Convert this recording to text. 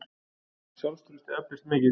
Sjálfstraustið eflist mikið.